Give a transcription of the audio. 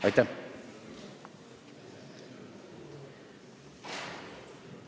Aitäh!